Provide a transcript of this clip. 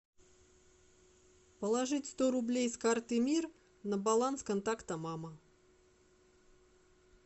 положить сто рублей с карты мир на баланс контакта мама